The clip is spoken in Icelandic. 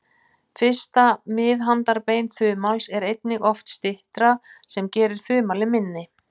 Fyrsta miðhandarbein þumals er einnig oft styttra, sem gerir þumalinn minni.